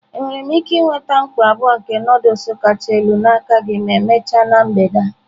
Enwere m ike nweta mkpọ abụọ nke Nụdụls kacha elu n'aka gị ma emechaa na mgbede a?